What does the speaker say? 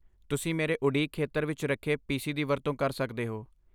ਤੁਸੀਂ ਮੇਰੇ ਉਡੀਕ ਖੇਤਰ ਵਿੱਚ ਰੱਖੇ ਪੀਸੀ ਦੀ ਵਰਤੋਂ ਕਰ ਸਕਦੇ ਹੋ।